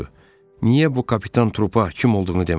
Niyə bu kapitan Trupa kim olduğunu demədin?